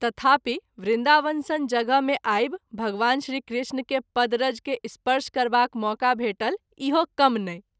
तथापि वृन्दावन सन जगह मे आवि भगवान श्री कृष्ण के पद रज के स्पर्श करबाक मौका भेटल इहो कम नहिं।